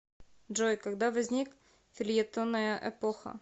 джой когда возник фельетонная эпоха